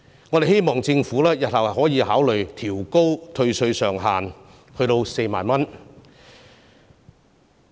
我們希望政府日後可以考慮調高退稅上限至4萬元。